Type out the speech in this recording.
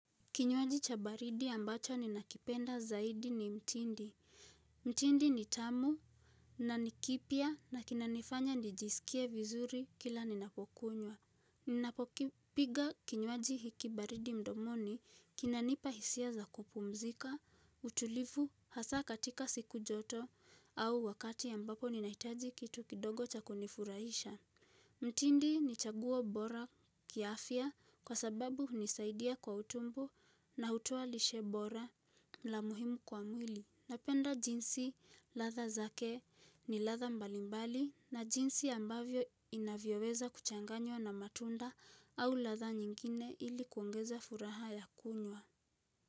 Kinywaji cha baridi ambacho ninakipenda zaidi ni mtindi. Mtindi ni tamu na ni kipya na kinanifanya nijisikie vizuri kila ninapokunywa. Ninapokipiga kinywaji hiki baridi mdomoni kinanipa hisia za kupumzika, utulivu hasa katika siku joto au wakati ambapo ninahitaji kitu kidogo cha kunifurahisha. Mtindi ni chaguo bora kiafya kwa sababu hunisaidia kwa utumbo na hutuo lishe bora la muhimu kwa mwili napenda jinsi ladha zake ni ladha mbalimbali na jinsi ambavyo inavyoweza kuchanganywa na matunda au ladha nyingine ili kuongeza furaha ya kunywa.